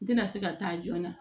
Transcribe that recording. N tɛna se ka taa joona